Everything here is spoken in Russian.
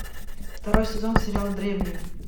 второй сезон сериал древние